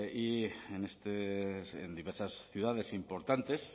y en diversas ciudades importantes